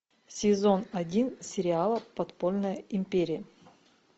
сезон один сериала подпольная империя